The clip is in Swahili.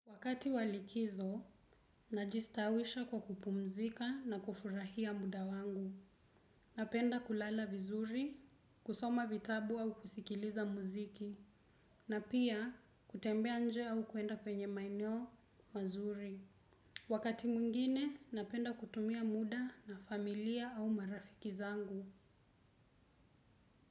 Wakati walikizo, najistawisha kwa kupumzika na kufurahia muda wangu. Napenda kulala vizuri, kusoma vitabu au kusikiliza muziki, na pia kutembea nje au kumwenda kwenye maeneo mazuri. Wakati mwingine, napenda kutumia muda na familia au marafiki zangu.